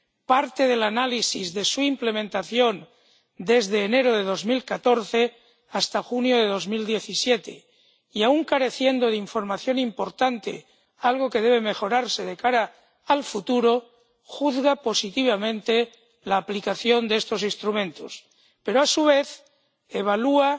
Parte del análisis de su implementación desde enero de 2014 hasta junio de 2017 y —aun careciendo de información importante, algo que debe mejorarse de cara al futuro— juzga positivamente la aplicación de estos instrumentos, pero a su vez evalúa